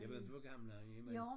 Ja ved du hvor gammel han er men?